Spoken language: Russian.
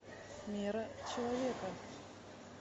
мера человека